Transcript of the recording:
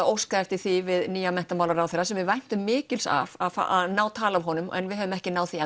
óskað eftir því við nýjan menntamálaráðherra sem við væntum mikils af að ná tali af honum en við höfum ekki náð því